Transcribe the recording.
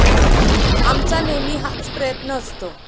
आमचा नेहमी हाच प्रयत्न असतो.